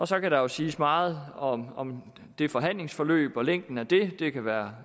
så kan der jo siges meget om om det forhandlingsforløb og længden af det det kan være